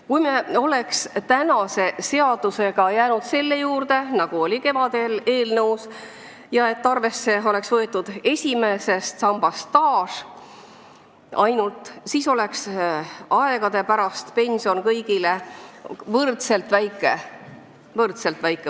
Kui me oleks jäänud selle juurde, mis oli kevadel esitatud eelnõus, et esimeses sambas oleks arvesse võetud ainult staaži, siis oleks aastate pärast pension kõigil võrdselt väike.